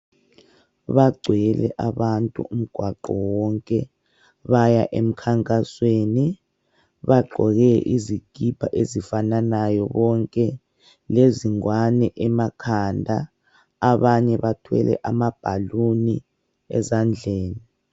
Bagcwele abantu umgwaqo wonke baya emkhankasweni bagqoke izikipa ezifananayo bonke lezingwane emakhanda abanye bathwele ama bhaluni ezandleni.